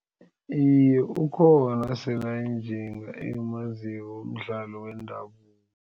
Iye, ukhona esele ayinjinga engimaziko womdlalo wendabuko.